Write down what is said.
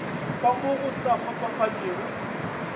ka mo go sa kgotsofatšego